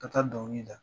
Ka taa dɔnkili da